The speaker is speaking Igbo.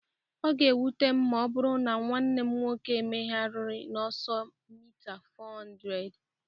Ọ ga-ewute m ma ọ bụrụ na nwanne m nwoke emeerịghị n'ọsọ mita 400